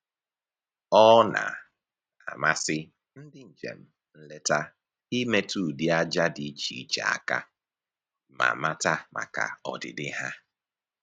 Ọ na-amasị ndị njem nleta imetụ ụdị aja dị iche iche aka ma mata maka ọdịdị ha